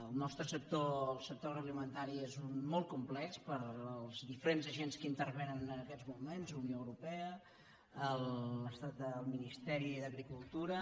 el nostre sector el sector agroalimentari és molt complex pels diferents agents que hi intervenen en aquests moments unió europea el ministeri d’agricultura